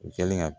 U kɛlen ka